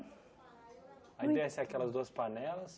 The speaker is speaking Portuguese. Aí desce aquelas duas panelas...